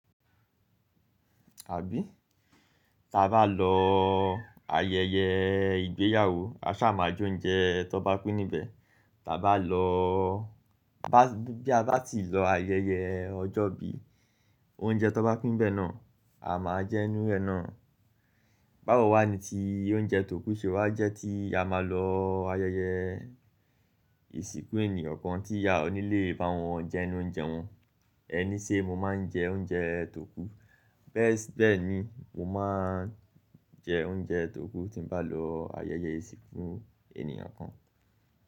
Àbí? Tí a bá lọ ayẹyẹ ìgbéyàwó, a ṣáà máa j'oúnjẹ tọ́n bá pín níbẹ̀. Tí a bá lọ́, bá, bí a bá tì lọ ayẹyẹ ọjọ́ ìbí, oúnjẹ tọ́n bá pín ńbẹ̀ náà, a máa jẹ ńnú ẹ̀ náà. Báwo wá ni ti oúnjẹ tòkú ṣe wá jẹ́ tí a máa lọ ayẹyẹ ìsìnkú ènìyàn kan tí a ò ní lè bá wọn jẹ ńnú oúnjẹ wọn? Ẹ ní ṣé mo máa ń jẹ oúnjẹ t'òkú. Bẹ́ẹ̀ sí, bẹ́ẹ̀ ni, mo máa ń jẹ oúnjẹ t'òkú tí n bá lọ ayẹyẹ ìsìnkú ènìyàn kan.